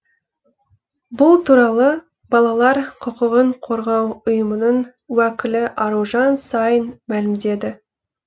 бұл туралы балалар құқығын қорғау ұйымының уәкілі аружан саин мәлімдеді